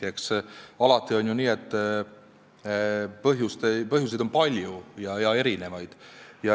Eks alati on ju nii, et põhjuseid on palju ja erinevaid.